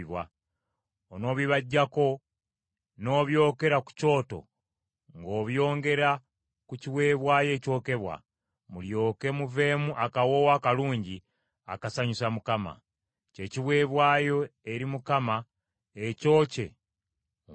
Onoobibaggyako, n’obyokera ku kyoto ng’obyongera ku kiweebwayo ekyokebwa, mulyoke muveemu akawoowo akalungi akasanyusa Mukama ; kye kiweebwayo eri Mukama ekyokye mu muliro.